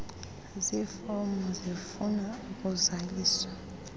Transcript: zifomu zifuna ukuzaliswa